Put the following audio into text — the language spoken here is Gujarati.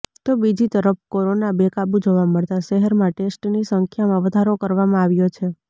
તો બીજી તરફ કોરોના બેકાબુ જોવા મળતા શહેરમાં ટેસ્ટની સંખ્યામાં વધારો કરવામાં આવ્યો છે